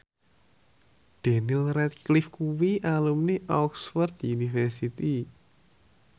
Daniel Radcliffe kuwi alumni Oxford university